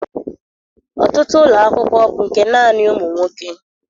Ọtụtụ ụlọakwụkwọ bụ nke naanị ụmụ nwoke